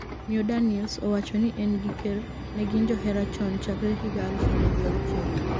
Miyo Daniels owacho ni en gi ker negin johera chon chakre higa aluf ariyo gi auchiel